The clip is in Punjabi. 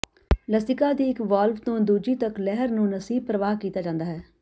ਲਸੀਕਾ ਦੀ ਇਕ ਵਾਲਵ ਤੋਂ ਦੂਜੀ ਤੱਕ ਲਹਿਰ ਨੂੰ ਲਸੀਬ ਪ੍ਰਵਾਹ ਕਿਹਾ ਜਾਂਦਾ ਹੈ